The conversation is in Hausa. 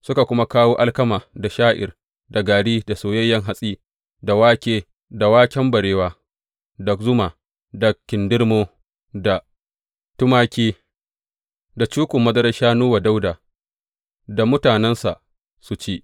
Suka kuma kawo alkama da sha’ir, da gari, da soyayyen hatsi, da wake, da waken barewa, da zuma, da kindirmo, da tumaki, da cukun madarar shanu wa Dawuda da mutanensa su ci.